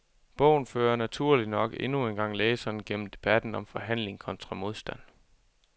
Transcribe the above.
Bogen fører naturligt nok endnu engang læseren gennem debatten om forhandling kontra modstand.